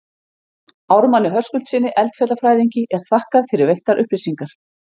Ármanni Höskuldssyni, eldfjallafræðingi, er þakkað fyrir veittar upplýsingar.